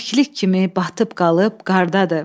Kəklik kimi batıb qalıb qardadır.